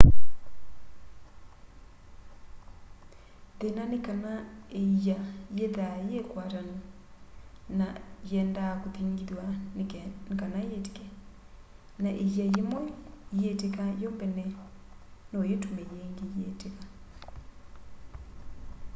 thĩna nĩ kana ĩa yĩthaa yĩ ĩkwatanũ nana yendaa kũthĩngĩthwa nĩ kana yĩtĩke na ĩa yĩmwe ĩyĩtĩka yo mbene no yĩtũme yĩngĩ ĩyĩtĩka